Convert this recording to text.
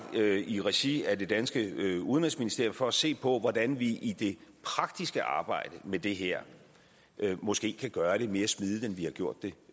i regi af det danske udenrigsministerium for at se på hvordan vi i det praktiske arbejde med det her måske kan gøre det mere smidigt end vi har gjort det